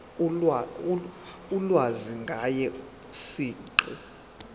ulwazi ngaye siqu